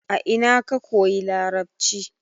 a ina ka koyi larabci?